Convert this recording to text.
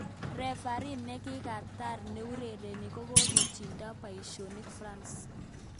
Refarii nekikatar neurereni kokokitondoo paishonik france.